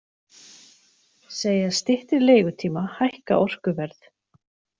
Segja styttri leigutíma hækka orkuverð